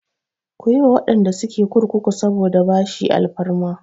Ku yi wa waɗanda suke kurkuku saboda bashi alfarma!